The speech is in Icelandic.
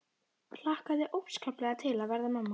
Hlakkaði óskaplega til að verða mamma.